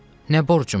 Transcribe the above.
nə borcumdur?